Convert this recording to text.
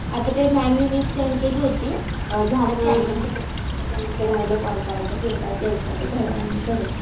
आता ते मॅम नि लिस्ट सेंड केली होती. झालं ते जणांचं राहिलंय कॉल करायचं. फीडबॅक द्यायचं. ते थोड्या वेळानी करेल.